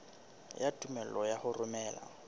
ya tumello ya ho romela